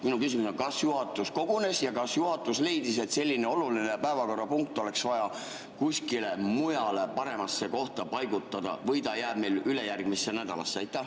Minu küsimus on, kas juhatus kogunes ja kas juhatus leidis, et selline oluline päevakorrapunkt oleks vaja kuskile mujale, paremasse kohta paigutada või ta jääb meil ülejärgmisse nädalasse?